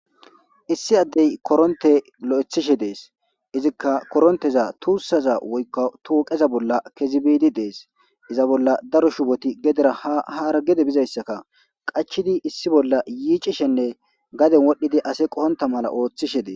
Issi addey koronte lo7ethishe dees izikka koronteza tuussaza woykka tuuqeza bolla kezibidi dees iza bolla daro shuboti gedera ahara gede bizayssaka qachidi issi bolla yiicishenne gaden wodhdhidi ase qoonta mala ooththishe dee.